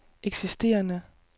eksisterende